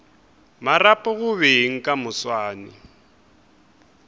marapo go beng ka moswane